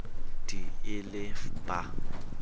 d e le f ba